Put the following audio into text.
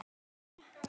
Sæl, Elma.